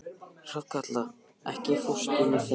Hrafnkatla, ekki fórstu með þeim?